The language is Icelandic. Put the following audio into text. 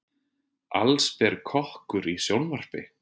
Allsber kokkur í sjónvarpi